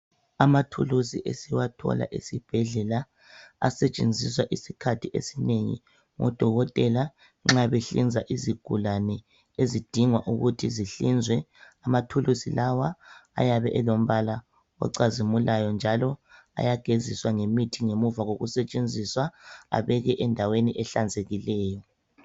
Amathulusi esiwathola esibhedlela asetshenziswa izikhathi ezinengi ngodokotela nxa behlinza izigulane ezidinga ukuthi zihlinzwe. Amathulusi lawa ayabe elombala ocazimulayo njalo ayageziswa ngemithi ngemuva kokusetshenziswa abekwe endaweni ehlanzekileyo.